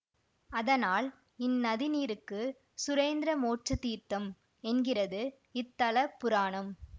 அதனால் இந்நதிநீருக்கு சுரேந்திர மோட்ச தீர்த்தம் என்கிறது இத்தலபுராணம்